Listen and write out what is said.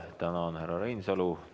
Tänan, härra Reinsalu!